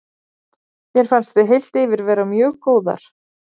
Mér fannst við heilt yfir vera mjög góðar.